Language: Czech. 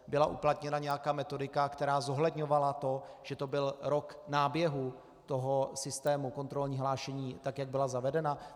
Byla uplatněna nějaká metodika, která zohledňovala to, že to byl rok náběhu toho systému, kontrolní hlášení, tak jak byla zavedena?